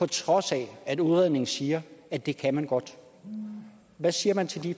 trods af at udredningen siger at det kan man godt hvad siger man til de